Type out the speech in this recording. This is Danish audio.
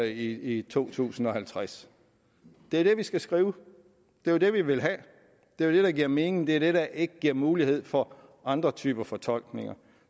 i to tusind og halvtreds det er det vi skal skrive det var det vi ville have det er det der giver mening det er det der ikke giver mulighed for andre typer fortolkninger